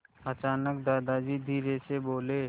अचानक दादाजी धीरेधीरे बोले